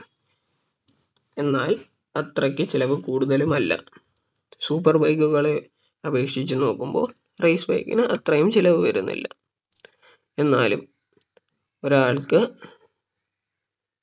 എന്നാൽ അത്രയ്ക്ക് ചിലവ് കൂടുതലുമല്ല super bike കളെ അപേക്ഷിച്ച് നോക്കുമ്പോൾ race bike ന് അത്രയും ചിലവ് വരുന്നില്ല എന്നാലും ഒരാൾക്ക്